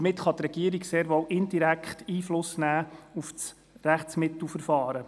Damit kann die Regierung sehr wohl indirekt Einfluss nehmen auf das Rechtsmittelverfahren.